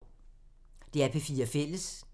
DR P4 Fælles